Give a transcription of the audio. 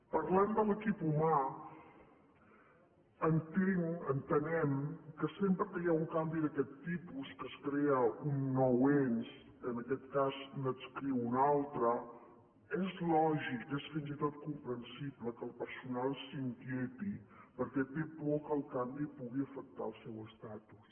parlant de l’equip humà entenc ho entenem que sempre que hi ha un canvi d’aquest tipus que es crea un nou ens que en aquest cas n’adscriu un altre és lògic és fins i tot comprensible que el personal s’inquieti perquè té por que el canvi pugui afectar el seu estatus